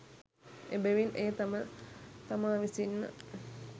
එබැවින් එය තම තමා විසින්ම